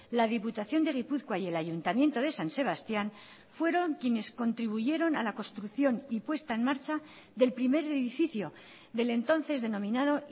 la diputación de gipuzkoa y el ayuntamiento de san sebastián fueron quienes contribuyeron a la construcción y puesta en marcha del primer edificio del entonces denominado